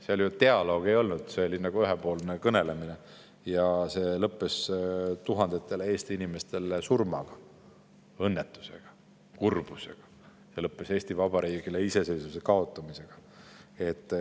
Seal ju dialoogi ei olnud, see oli ühepoolne kõnelemine, mis lõppes tuhandetele Eesti inimestele surmaga, õnnetusega ja kurbusega ning Eesti Vabariigile iseseisvuse kaotamisega.